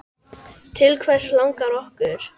Til hvers langar okkur?